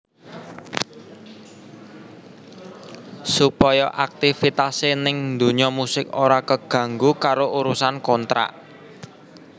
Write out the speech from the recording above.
Supaya aktifitasé ning dunya musik ora keganggu karo urusan kontrak